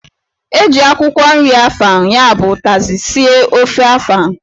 E ji akwụkwọ nri afang (ụkazị) sie ofe afang.